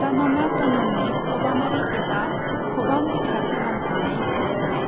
तनमा तनमनि खबामारि एबा खबाम बिथा खालाम जानाय फोसाबनाय।